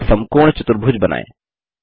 एक समकोण चतुर्भुज बनायें